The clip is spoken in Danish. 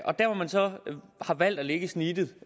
og der hvor man så har valgt at lægge snittet